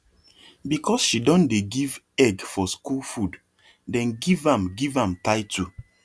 because she don dey give egg for school food dem give am give am title